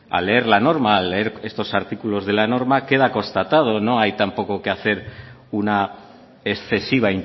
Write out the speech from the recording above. al leer la norma al leer estos artículos de la norma queda constatado no hay tampoco que hacer una excesiva